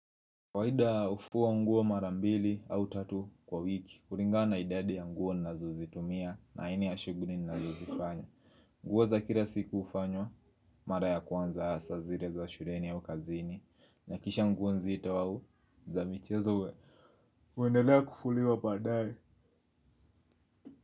Kawaida hufua nguo mara mbili au tatu kwa wiki, kulingana na idadi ya nguo nazozitumia aini ya shughuli ninazozifanya. Nguo za kila siku hufanywa, mara ya kwanza hasa zile za shuleni au kazini, na kisha nguo nzito au za michezo we huendelea kufuliwa badaye.